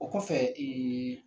O kɔfɛ ee